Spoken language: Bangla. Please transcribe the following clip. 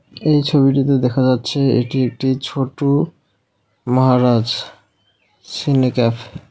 এই ছবিটিতে দেখা যাচ্ছে এটি একটি ছোটু মাহারাজ সিনে ক্যাফ .